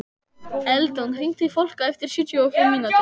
Eldon, hringdu í Fólka eftir sjötíu og fimm mínútur.